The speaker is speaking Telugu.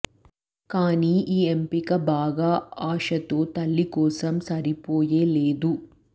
కానీ ఈ ఎంపిక బాగా ఆశతో తల్లి కోసం సరిపోయే లేదు